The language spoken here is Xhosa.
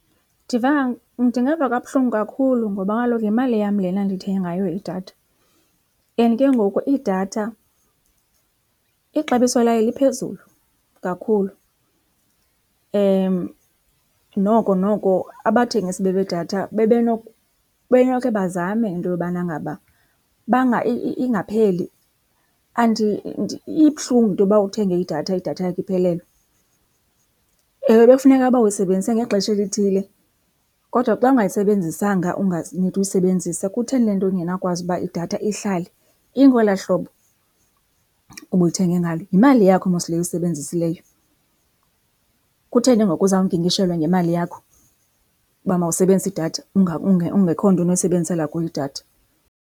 Ndingeva kabuhlungu kakhulu ngoba kaloku yimali yam lena ndithenge ngayo idatha and ke ngoku idatha ixabiso layo liphezulu kakhulu. Noko noko abathengisi bedatha bebenokhe bazame into yobana ngaba ingapheli. Ibuhlungu into yoba uthenge idatha, idatha yakho iphelelwe. Ewe, bekufuneka ba uyisebenzise ngexesha elithile. Kodwa xa ungayisebenzisanga unganidi uyisebenzisa kutheni lento ndingenawukwazi intoba idatha ihlale ingolaa hlobo ubuyithenge ngalo? Yimali yakho mos le uyisebenzisileyo. Kutheni ngoku uzawunkinkishelwa ngemali yakho uba mawusebenzise idatha ungekho nto unoyisebenzisela kuyo idatha?